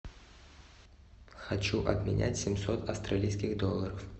хочу обменять семьсот австралийских долларов